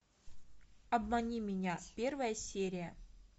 обмани меня первая серия